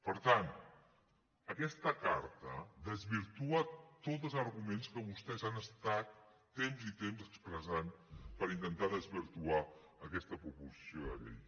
per tant aquesta carta desvirtua tots els arguments que vostès han estat temps i temps expressant per intentar desvirtuar aquesta proposició de llei